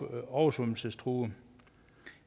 er oversvømmelsestruede